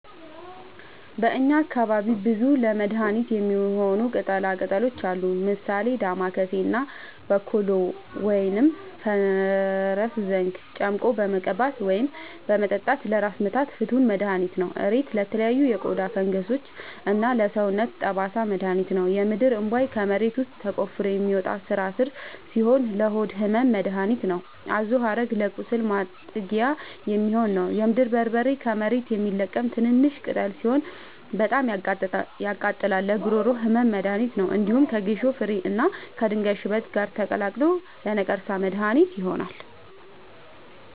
በእኛ አካባቢ ብዙ ለመድሀነት የሚሆኑ ቅጠላ ቅጠሎች አሉ። ምሳሌ፦ ዳማከሴ እና ቦኮሉ(ፈረስዘንግ) ጨምቆ በመቀባት ወይም በመጠጣት ለራስ ምታት ፍቱን መድሀኒት ነው። እሬት ለተለያዩ የቆዳ ፈንገሶች እና ለሰውነት ጠባሳ መድሀኒት ነው። የምድርእንቧይ ከመሬት ውስጥ ተቆፍሮ የሚወጣ ስራስር ሲሆን ለሆድ ህመም መደሀኒት ነው። አዞሀረግ ለቁስል ማጥጊያ የሚሆን ነው። የምድር በርበሬ ከመሬት የሚለቀም ትንሽሽ ቅጠል ሲሆን በጣም ያቃጥላል ለጉሮሮ ህመም መድሀኒት ነው። እንዲሁም ከጌሾ ፍሬ እና ከድንጋይ ሽበት ጋር ተቀላቅሎ ለነቀርሳ መድሀኒት ይሆናል።